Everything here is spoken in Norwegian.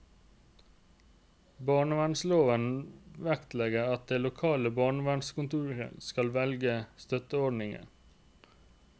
Barnevernsloven vektlegger at det lokale barnevernskontoret skal velge støtteordninger.